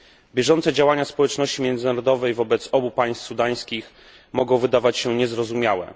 Bieżące działania społeczności międzynarodowej wobec obu państw sudańskich mogą wydawać się niezrozumiałe.